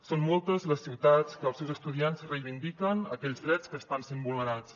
són moltes les ciutats que els seus estudiants hi reivindiquen aquells drets que estan sent vulnerats